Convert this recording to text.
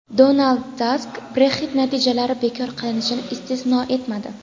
Donald Tusk Brexit natijalari bekor qilinishini istisno etmadi.